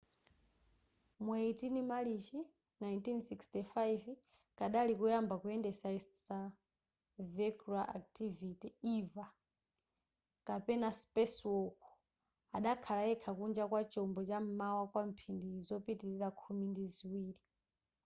mu 18 marichi 1965 kadali koyamba kuyendesa extravehicular activity eva kapena spacewalk” adakhala yekha kunja kwa chombo cha m'mwamba kwa mphindi zopitilira khumi ndi ziwiri